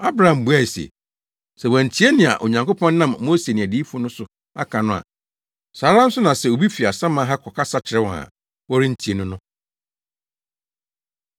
“Abraham buae se, ‘Sɛ wɔantie nea Onyankopɔn nam Mose ne adiyifo no so aka no a, saa ara nso na sɛ obi fi asaman ha kɔkasa kyerɛ wɔn a, wɔrentie no no.’ ”